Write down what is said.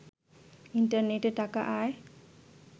ইন্টারনেটে টাকা আয়